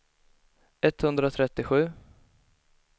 etthundratrettiosju